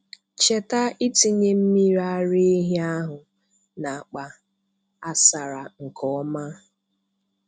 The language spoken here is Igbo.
Cheta ịtinye mmiri ara ehi ahụ na akpa asara nke ọma.